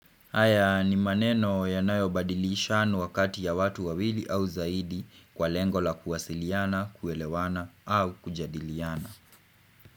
Haya ni maneno yanayo badilisha wakati ya watu wawili au zaidi kwa lengo la kuwasiliana, kuelewana au kujadiliana.